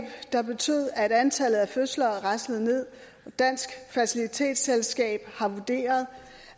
der betød at antallet af fødsler raslede nederst dansk fertilitetsselskab har vurderet